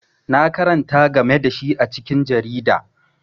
Na karanta game da shi a cikin jarida.